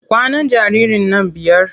Kwanan jaririn nan biyar.